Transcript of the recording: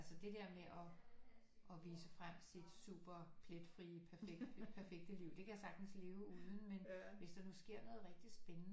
Altså det der med at at vise frem sit super pletfrie perfekte perfekte liv det kan jeg sagtens leve uden men hvis der nu sker noget rigtig spændende